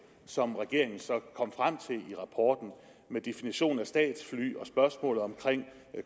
som regeringen så kom frem til i rapporten med definition af statsfly og spørgsmålet om